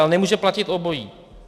Ale nemůže platit obojí.